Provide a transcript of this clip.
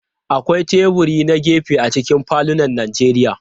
Akwai teburi na gefe a cikin falunan Najeriya.